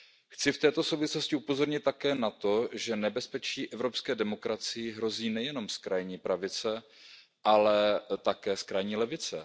Chci v této souvislosti upozornit také na to, že nebezpečí evropské demokracii hrozí nejenom z krajní pravice, ale také z krajní levice.